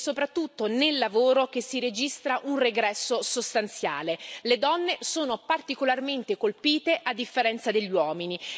Ed è soprattutto nel lavoro che si registra un regresso sostanziale le donne sono particolarmente colpite, a differenza degli uomini.